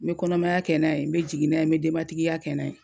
N bɛ kɔnɔmaya kɛ n'a ye n bɛ jigin n'a ye, n bɛ denbatigiya kɛ n'a ye .